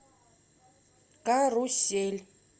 карусель